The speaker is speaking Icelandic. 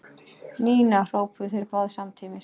Nína! hrópuðu þeir báðir samtímis.